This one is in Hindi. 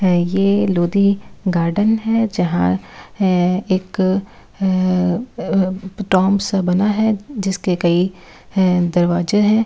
है ये लोदी गार्डन है जहां है एक है अ टॉम्ब सा बना है जिसके कई ह दरवाजे हैं।